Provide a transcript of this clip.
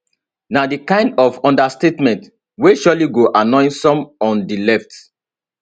na di kind of understatement wey surely go annoy some on di left